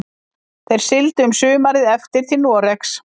Þeir sigldu um sumarið eftir til Noregs.